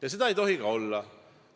Ja seda ei tohi ka olla!